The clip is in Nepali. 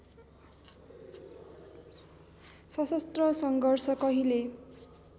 सशस्त्र सङ्घर्ष कहिले